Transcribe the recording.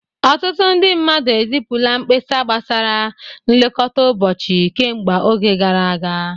Ọtụtụ ndị mmadụ ezipụla mkpesa gbasara nlekọta ụbọchị kemgbe oge gara aga